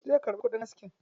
Zai karɓi kudin aski.